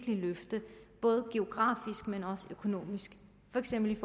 et løft ikke alene geografisk men også økonomisk for eksempel